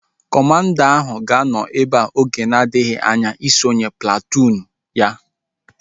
Kọmanda ahu ga-anọ ebea oge na-adịghị anya isonye platụụn ahu